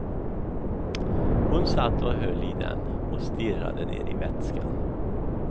Hon satt och höll i den och stirrade ner i vätskan.